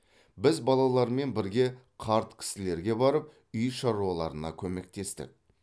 біз балалармен бірге қарт кісілерге барып үй шаруаларына көмектестік